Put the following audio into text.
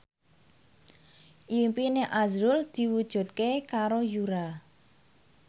impine azrul diwujudke karo Yura